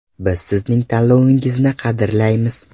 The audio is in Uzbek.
Biz sizning tanlovingizni qadrlaymiz!